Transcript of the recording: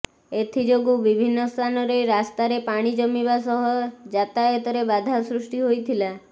ଏଥିଯୋଗୁଁ ବିଭିନ୍ନ ସ୍ଥାନରେ ରାସ୍ତାରେ ପାଣି ଜମିବା ସହ ଯାତାୟାତରେ ବାଧା ସୃଷ୍ଟି ହୋଇଥଥିଲା